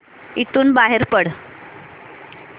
इथून बाहेर पड